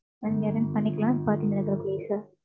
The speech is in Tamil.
அஹ் நீங்க ஏதோனு பண்ணிக்கலாம். Party நல்லபடியா முடியும் sir.